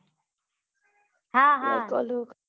હા હા